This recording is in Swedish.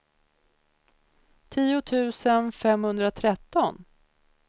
tio tusen femhundratretton